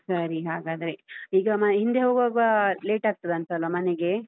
ಸರಿ ಹಾಗಾದ್ರೆ, ಈಗ ಹಿಂದೆ ಹೋಗ್ವಾಗ late ಆಗ್ತದಾಂತಲ್ವಾ ಮನೆಗೆ?